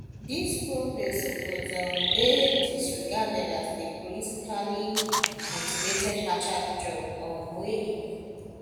dis probe suppose um dey disregarded as di politically motivated hatchet job um wey e be